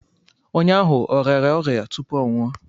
Onye ahụ ọ rịara ọrịa tupu ọ nwụọ?